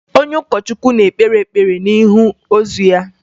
Onye ụkọchukwu na-ekpe ekpere n'ihu ozu ahụ